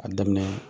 A daminɛ